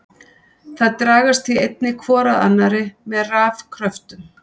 Þær dragast því einnig hvor að annari með rafkröftum.